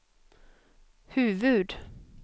huvud-